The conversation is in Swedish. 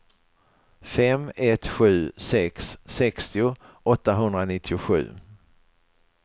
fem ett sju sex sextio åttahundranittiosju